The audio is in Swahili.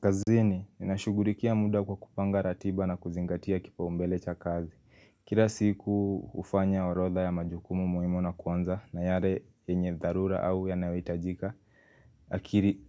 Kazini, ninashughulikia muda kwa kupanga ratiba na kuzingatia kipaumbele cha kazi. Kila siku hufanya orodha ya majukumu muhimu na kuanza na yale yenye dharura au yanayoitajika